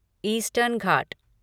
eastern Ghat